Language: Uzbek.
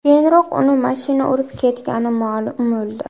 Keyinroq uni mashina urib ketgani ma’lum bo‘ldi.